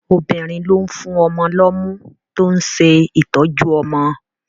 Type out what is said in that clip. Obìnrin ló ń fún ọmọ lọ́mú tó ń ṣe ìtọ́jú ọmọ